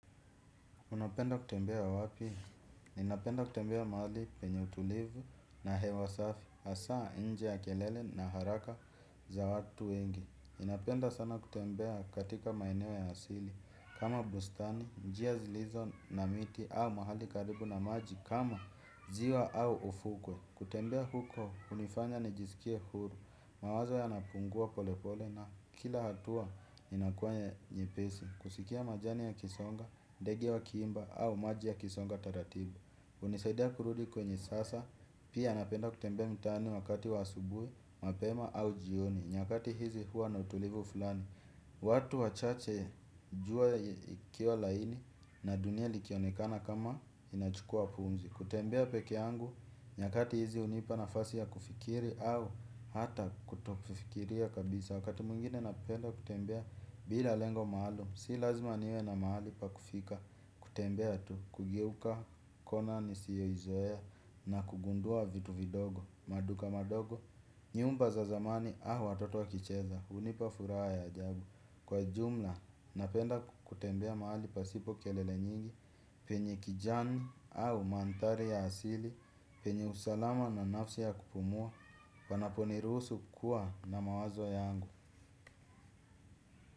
Unapenda kutembea wapi. Ninapenda kutembea mahali penye utulivu na hewa safi hasa nje ya kelele na haraka za watu wengi. Inapenda sana kutembea katika maeneo ya asili. Kama bustani, njia zilizo na miti au mahali karibu na maji kama ziwa au ufukwe. Kutembea huko, hunifanya nijisikie huru. Mawazo yanapungua pole pole na kila hatua inakuwa nyepesi. Kusikia majani yakisonga, ndege wakiimba au maji yakisonga taratibu hunisaidia kurudi kwenye sasa, pia napenda kutembea mitaani wakati wa asubui, mapema au jioni nyakati hizi hua na utulivu fulani. Watu wachache jua ikiwa laini na dunia likionekana kama inachukua pumzi. Kutembea pekeangu nyakati hizi hunipa nafasi ya kufikiri au hata kutofikiria kabisa wakati mwengine napenda kutembea bila lengo maalum si lazima niwe na maali pa kufika kutembea tu kugeuka kona nisiyoizoea na kugundua vitu vidogo, maduka madogo. Nyumba za zamani au watoto wakicheza hunipa furaha ya ajabu kwa jumla napenda kutembea mahali pasipo kelele nyingi. Penye kijani au manthari ya asili penye usalama na nafsi ya kupumua panaponiruhusu kuwa na mawazo yangu.